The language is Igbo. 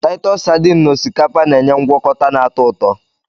Taịtọs sardines na osikapa na-enye ngwọkọta na-atọ ụtọ